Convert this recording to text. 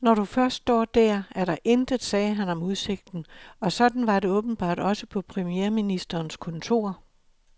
Når du først står der, er der intet, sagde han om udsigten, og sådan var det åbenbart også på premierministerens kontor.